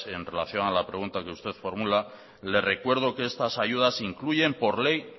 en relación a la pregunta que usted formula le recuerdo que estas ayudas incluyen por ley